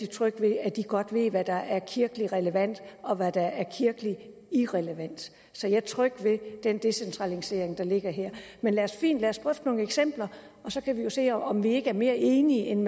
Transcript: tryg ved at de godt ved hvad der er kirkeligt relevant og hvad der er kirkeligt irrelevant så jeg er tryg ved den decentralisering der ligger her men fint lad os drøfte nogle eksempler og så kan vi jo se om vi ikke er mere enige end